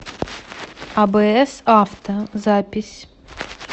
абс авто запись